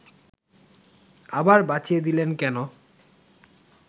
আবার বাঁচিয়ে দিলেন কেন